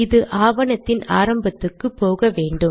இது ஆவணத்தின் ஆரம்பத்துக்கு போக வேண்டும்